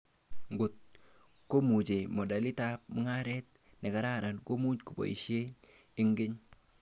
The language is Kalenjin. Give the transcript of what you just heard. Ngot komache modelitab mugaret nekararan, komu koboishe eng keny